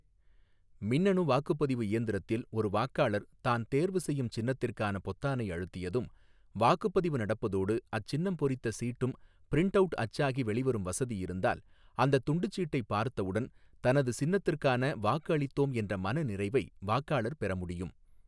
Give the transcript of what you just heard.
மின்னணு வாக்குப்பதிவு இயந்திரத்தில் ஒரு வாக்காளர் தான் தேர்வு செய்யும் சின்னத்திற்கான பொத்தானை அழுத்தியதும் வாக்குப்பதிவு நடப்பதோடு அச் சின்னம் பொறித்த சீட்டும் பிரின்ட் அவுட் அச்சாகி வெளிவரும் வசதி இருந்தால் அந்தத் துண்டுச்சீட்டை பார்த்தவுடன் தனது சின்னத்துக்கான வாக்கு அளித்தோம் என்ற மனநிறைவை வாக்காளர் பெற முடியும்.